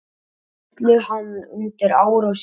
Öllu hann undi ár og síð.